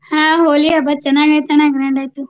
ಹಾ ಹೋಳಿ ಹಬ್ಬ ಚೆನ್ನಾಗಾಯಿತಣ್ಣ. grand ಆಯ್ತು.